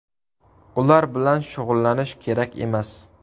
Ular bilan shug‘ullanish kerak emas.